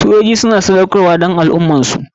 Sojoji suna sadaukarwa don al ummarsu.